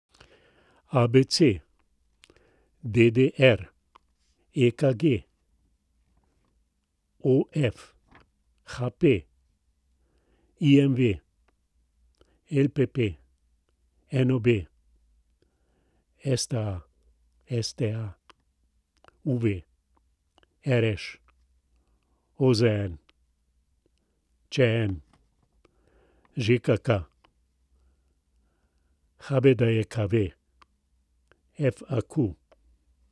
ABC, DDR, EKG, OF, HP, IMV, LPP, NOB, STA, UV, RŠ, OZN, ČM, ŽKK, HBDJKV, FAQ.